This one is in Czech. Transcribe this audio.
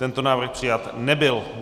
Tento návrh přijat nebyl.